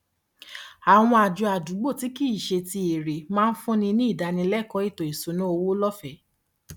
àwọn àjọ àdúgbò tí kì í ṣe ti èrè máa ń fúnni ní ìdánilẹkọọ ètò ìṣúnná owó lọfẹẹ